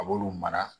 A b'olu mara